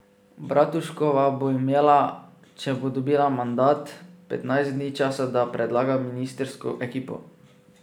Bratuškova bo imela, če bo dobila mandat, petnajst dni časa, da predlaga ministrsko ekipo.